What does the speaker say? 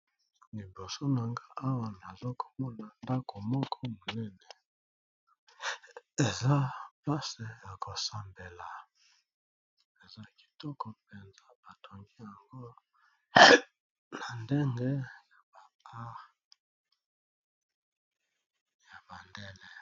Liboso nanga awa naza komona ndako moko monene eza place yako sambela eza kitoko penza batongi yango na ndenge ya bandele.